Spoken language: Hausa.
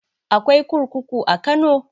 Akwai kurkuku a kano?